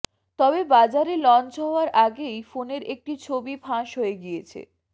তবে বাজারে লঞ্চ হওয়ার আগেই ফোনের একটি ছবি ফাঁস হয়ে গিয়েছে